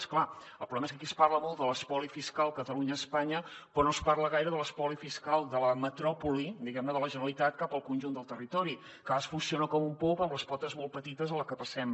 és clar el problema és que aquí es parla molt de l’espoli fiscal catalunya espanya però no es parla gaire de l’espoli fiscal de la metròpoli diguem ne de la generalitat cap al conjunt del territori que a vegades funciona com un pop amb les potes molt petites a la que passem